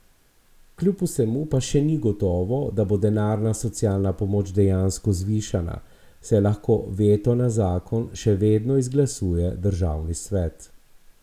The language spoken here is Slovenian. Kljub vsemu pa še ni gotovo, da bo denarna socialna pomoč dejansko zvišana, saj lahko veto na zakon še vedno izglasuje državni svet.